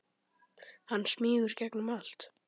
Hann smýgur gegnum allt.